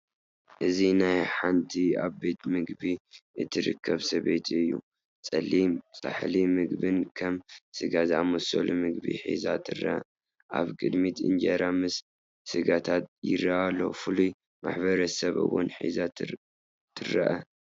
እዚ ናይ ሓንቲ ኣብ ቤት ምግቢ እትርከብ ሰበይቲ እዩ። ጸሊም ጻሕሊ ምግብን ከም ስጋ ዝኣመሰለ ምግብን ሒዛ ትርአ። ኣብ ቅድሚት እንጀራ ምስ ስጋታት ይረአ ኣሎ፣ ፍሉይ ማሕበረሰብ እወን ሒዛ ትርአ።